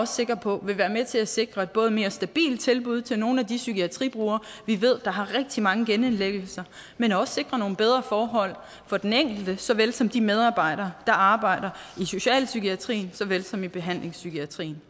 sikker på vil være med til at sikre et både mere stabilt tilbud til nogle af de psykiatribrugere vi ved har rigtig mange genindlæggelser men også sikre nogle bedre forhold for den enkelte såvel som de medarbejdere der arbejder i socialpsykiatrien såvel som i behandlingspsykiatrien